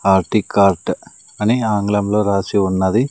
RT cart అని ఆంగ్లంలో రాసి ఉన్నది.